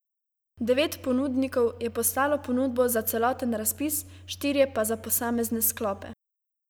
Devet ponudnikov je poslalo ponudbo za celoten razpis, štirje pa za posamezne sklope.